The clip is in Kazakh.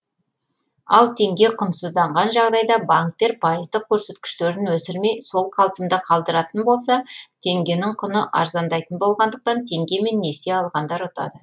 ал теңге құнсызданған жағдайда банктер пайыздық көрсеткіштерін өсірмей сол қалпында қалдыратын болса теңгенің құны арзандайтын болғандықтан теңгемен несие алғандар ұтады